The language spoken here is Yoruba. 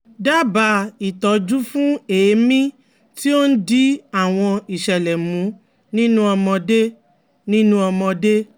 Dábàá ìtọ́jú fún èémí tí ó ń di àwọn ìṣẹ̀lẹ̀ mú nínú ọmọdé nínú ọmọdé